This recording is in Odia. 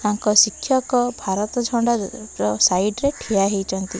ତାଙ୍କ ଶିକ୍ଷକ ଝଣ୍ଡା ର ସାଇଟ୍ ରେ ଠିଆ ହେଇଛନ୍ତି।